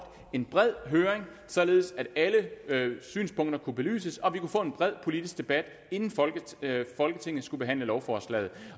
en bred høring således at alle synspunkter kunne belyses og vi kunne få en bred politisk debat inden folketinget skulle behandle lovforslaget